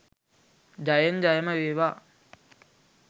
ජයෙන් ජයම වේවා.